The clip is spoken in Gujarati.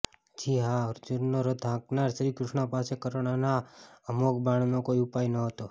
જી હા અર્જુનનો રથ હાંકનાર શ્રી કૃષ્ણ પાસે કર્ણના અમોઘ બાણનો કોઈ ઉપાય નહોતો